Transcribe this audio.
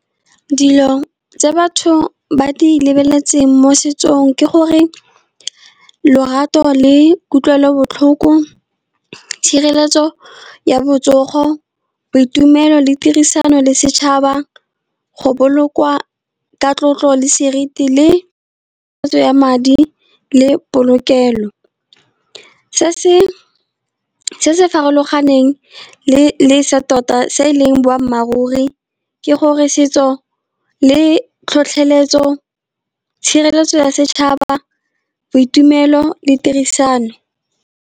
Dilo tse batho ba di lebeletseng mo setsong ke gore lorato le kutlwelobotlhoko, tshireletso ya botsogo boitumelo le tirisano le setšhaba go bolokwa ka tlotlo le seriti le peeletso ya madi le polokelo. Se se farologaneng le sa tota, se e leng boammaaruri ke gore setso le tlhotlheletso, tshireletso ya setšhaba, boitumelo le tirisano.